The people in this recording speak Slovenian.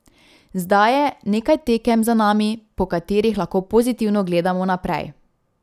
Zdaj je nekaj tekem za nami, po katerih lahko pozitivno gledamo naprej.